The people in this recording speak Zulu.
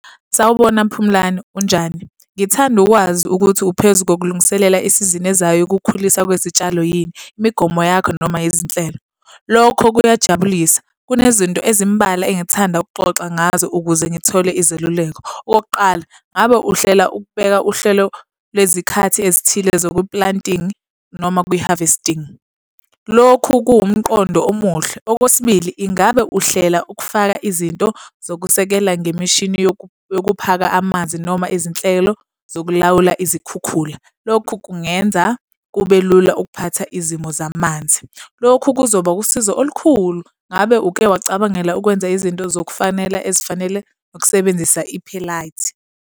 Sawubona Phumlani, unjani? Ngithanda ukwazi ukuthi uphezu kokulungiselela isizini ezayo yokukhuliswa kwezitshalo yini? Imigomo yakho noma izinhlelo? Lokho kuyajabulisa. Kunezinto ezimbalwa engithanda ukuxoxa ngazo ukuze ngithole izeluleko. Okokuqala, ngabe uhlela ukubeka uhlelo lwezikhathi ezithile zoku-planting noma kwi-harvesting? Lokhu kuwumqondo omuhle. Okwesibili, ingabe uhlela ukufaka izinto zokusekela ngemishini yokuphaka amanzi noma izinhlelo zokulawula izikhukhula? Lokhu kungenza kube lula ukuphatha izimo zamanzi, lokhu kuzoba usizo olukhulu. Ngabe uke wacabangela ukwenza izinto zokufanela ezifanele nokusebenzisa .